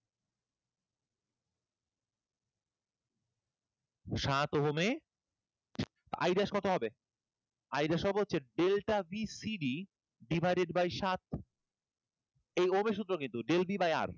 সাত ওহমের I dash কত হবে i dash হবে হচ্ছে delta bcd divided by সাত এই ওহমের সূত্র কিন্তু delta d by R